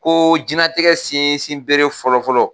Ko diɲɛnatigɛ sinsin bere fɔlɔ-fɔlɔ